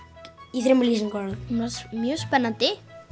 í þremur lýsingarorðum hún var mjög spennandi